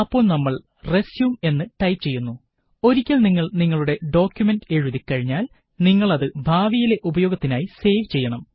അപ്പോള് നമ്മള് റെസ്യും എന്ന് ടൈപ് ചെയ്യുന്നു ഒരിക്കല് നിങ്ങള് നിങ്ങളുടെ ഡോക്കുമന്റ് എഴുതി കഴിഞ്ഞാല് നിങ്ങളത് ഭാവിയിലെ ഉപയോഗത്തിനായി സേവ് ചെയ്യണം